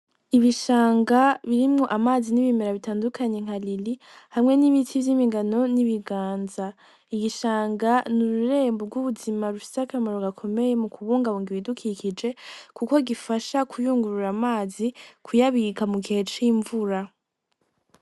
Ibishanga brimwo amazi n'ibimera bitandukanye nka riri hamwe n'ibiti vy'imigano n'ibiganza. Igishanga n'ururembo rw'ubuzima rufise akamaro gakomeye mukubungabunga ibidukikije kuko gifasha kuyungurura amazi kuyabika mugihe c'invura.